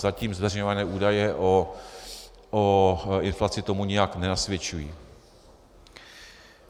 Zatím zveřejňované údaje o inflaci tomu nijak nenasvědčují.